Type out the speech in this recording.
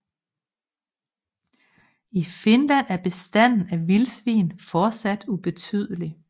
I Finland er bestanden af vildsvin fortsat ubetydelig